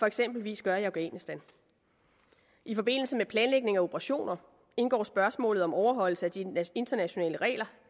eksempelvis gør i afghanistan i forbindelse med planlægning af operationer indgår spørgsmålet om overholdelse af de internationale regler